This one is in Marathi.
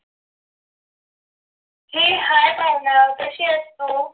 heyhi भावना कशी आहेस तू